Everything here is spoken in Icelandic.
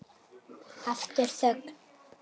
Aftur þögn.